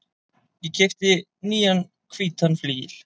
Ég keypti nýjan hvítan flygil.